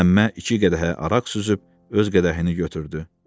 Məmmə iki qədəhə araq süzüb öz qədəhini götürdü.